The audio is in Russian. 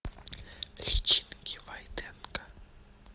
личинки войтенко